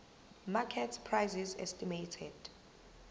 market prices estimated